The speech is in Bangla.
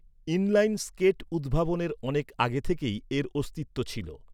ইনলাইন স্কেট উদ্ভাবনের অনেক আগে থেকেই এর অস্তিত্ব ছিল।